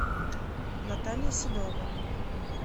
наталья седова